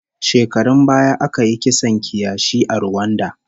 Shekarun baya aka yi kisan kiyashi a Ruwanda